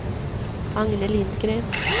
Agne Lindgren